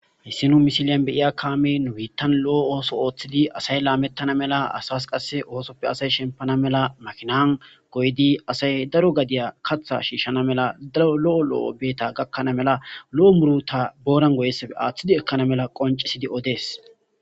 Hissinu misiliyan beiya kaame nuwiittan lo'o ooso ooththidi asay laamettana mela asas qasse oosoppe asay shempana mela makinan goydi asay daro gadiya katha shiishshana mela daro lo'o lo'o beeta gakkana mela lo'o muruta booran goyessafe aaththidi ekkana mela qoncisidi odees.